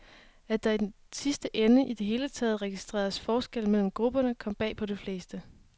At der i den sidste ende i det hele taget registreredes forskel mellem grupperne, kom bag på de fleste.